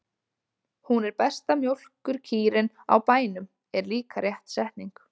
Hún er besta mjólkurkýrin á bænum, er líka rétt setning.